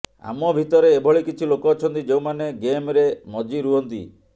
ଆମ ଭିତରେ ଏଭଳି କିଛି ଲୋକ ଅଛନ୍ତି ଯେଉଁମାନେ ଗେମରେ ମଜିରୁହନ୍ତି